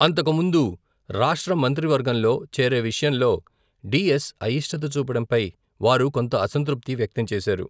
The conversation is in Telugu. అంతకుముందు రాష్ట్ర మంత్రివర్గంలో చేరే విషయంలో, డిఎస్ అయిష్టత చూపడంపై, వారు కొంత అసంతృప్తి వ్యక్తం చేశారు.